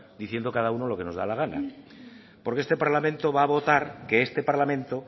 diciendo cada uno lo que nos da la gana porque este parlamento va a votar que este parlamento